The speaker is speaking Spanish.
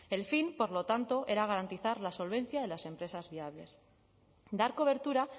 el fin por lo tanto era garantizar la solvencia de las empresas viables dar cobertura